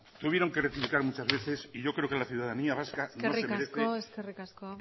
tuvieron que rectificar muchas veces y yo creo que la ciudadanía vasca no se merece eskerrik asko